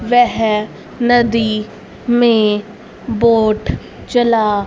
वेह नदी में बोट चला--